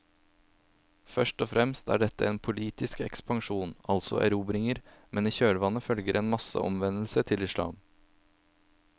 Først og fremst er dette en politisk ekspansjon, altså erobringer, men i kjølvannet følger en masseomvendelse til islam.